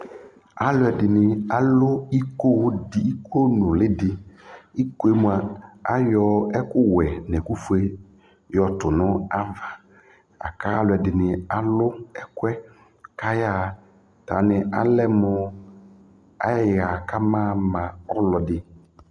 Alʊ ɛdɩnɩ alʊ iko nʊlɩ dɩ Iko mwa ayɔ ɛkʊwɛ nʊ ɛkʊfoe yɔ tʊ nʊ ava Aka alʊ ɛdɩnɩ alʊ ɛƙʊ yɛ kayaɣa Talʊwanɩ alɛ mʊ ayaɣa kaba ama ɛkʊ yɛ